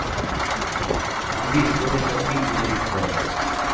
Han visste det så innerligt väl.